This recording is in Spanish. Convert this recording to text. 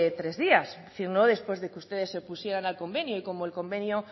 tres días es decir no después de que ustedes se opusieran al convenio y como el convenio